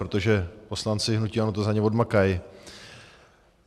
Protože poslanci hnutí ANO to za ně odmakaj.